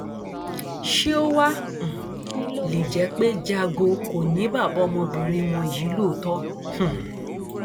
ṣé ó wáá um lè jẹ pé jago kò ní bàbá ọmọbìnrin wọn yìí lóòótọ um